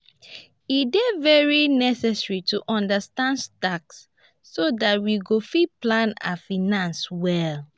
e dey very necessary to understand tax so dat we go fit plan our finances well